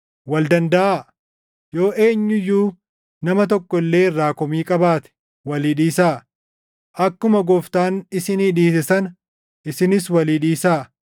Wal dandaʼaa; yoo eenyu iyyuu nama tokko illee irraa komii qabaate walii dhiisaa. Akkuma Gooftaan isinii dhiise sana isinis walii dhiisaa.